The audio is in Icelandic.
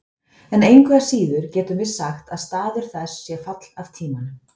En engu að síður getum við sagt að staður þess sé fall af tímanum: